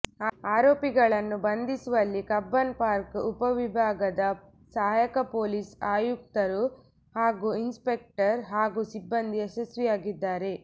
ಆರೋಪಿಗಳನ್ನು ಬಂಧಿಸುವಲ್ಲಿ Cubbon Park ಉಪವಿಭಾಗದ ಸಹಾಯಕ ಪೊಲೀಸ್ ಆಯುಕ್ತರು ಹಾಗೂ ಇನ್ಸ್ಪೆಕ್ಟರ್ ಹಾಗೂ ಸಿಬ್ಬಂದಿ ಯಶಸ್ವಿಯಾಗಿದ್ದಾರೆ